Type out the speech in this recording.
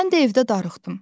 Mən də evdə darıxdım.